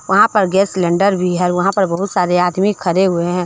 वहां पर gas cylinder भी है वहां पर बहुत सारे आदमी खड़े हुए हैं।